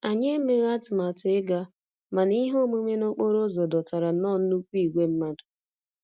Anyị emeghị atụmatụ ịga, mana ihe omume n'okporo ụzọ dọtara nnọọ nnukwu ìgwè mmadụ